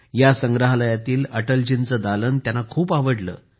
या संग्रहालयातील अटलजींचे दालन त्यांना खूप आवडले